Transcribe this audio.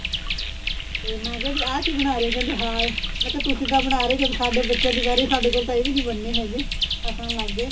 ਤੇ ਮੈਂ ਕਿਆ ਵੀ ਆ ਕੀ ਬਣਾ ਰਹੇ ਓ ਕਹਿੰਦੇ ਹਾਰ ਮੈ ਕਿਆ ਤੁਸੀ ਬਣਾ ਰਹੇ ਓ ਜਦੋਂ ਸਾਡੇ ਬੱਚਿਆਂ ਦੀ ਵਾਰੀ ਆਈ ਸਾਡੇ ਕੋਲ ਤਾਂ ਇਹ ਵੀ ਬਣਨੇ ਹੈਗੇ ਹਸਨ ਲੱਗ ਗਏ